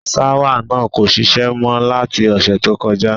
Ṣáwà náà kò šiṣẹ́ mọ́ láti ọ̀sẹ̀ tó kọjá.